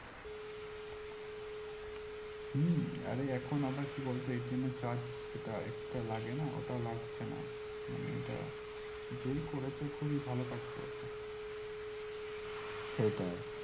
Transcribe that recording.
হম এখন আবার কি বলতো এর charge যেটা extra